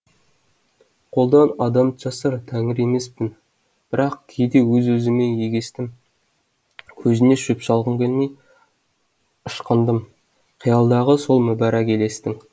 қолдан адам жасар тәңір емеспін бірақ кейде өз өзіммен егестім көзіне шөп салғым келмей ышқындым қиялдағы сол мүбәрак елестің